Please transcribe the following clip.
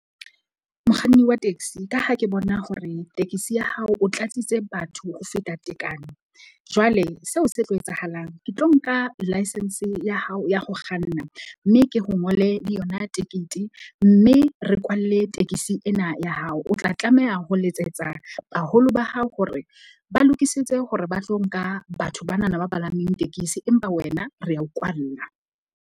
Mokganni wa taxi, ka ha ke bona hore tekesi ya hao o tlatsitse batho ho feta tekano, jwale seo se tlo etsahalang, ke tlo nka license ya hao ya ho kganna. Mme ke ho ngole le yona tekete. Mme re kwalle tekesi ena ya hao. O tla tlameha ho letsetsa baholo ba hao hore ba lokisetse hore ba tlo nka batho banana ba palameng tekesi. Empa wena re ya o kwalla.